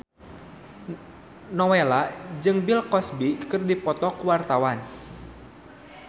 Nowela jeung Bill Cosby keur dipoto ku wartawan